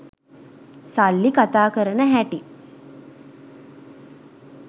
සල්ලි කතා කරන හැටි.